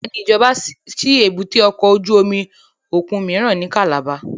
Bẹ́ẹ̀ni, ijọba ṣi èbúté ọkọ ojú omi okun miiran ni Calabar